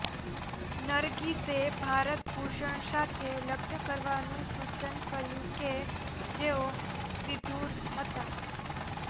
નરગિસે ભારત ભૂષણ સાથે લગ્ન કરવાનું સુચન કર્યું કે જેઓ વિધુર હતાં